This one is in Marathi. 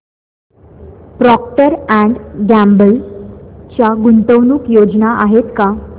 प्रॉक्टर अँड गॅम्बल च्या गुंतवणूक योजना आहेत का